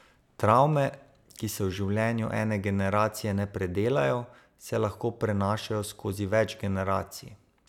Travme, ki se v življenju ene generacije ne predelajo, se lahko prenašajo skozi več generacij.